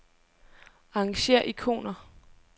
Arrangér ikoner.